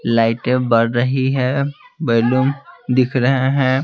लाइटें बढ़ रही है बलून दिख रहे है।